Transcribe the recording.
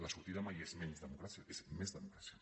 la sortida mai és menys democràcia és més democràcia